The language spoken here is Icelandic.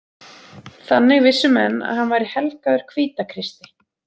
Þannig vissu menn að hann væri helgaður Hvítakristi.